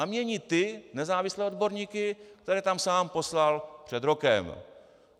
A mění ty nezávislé odborníky, které tam sám poslal před rokem.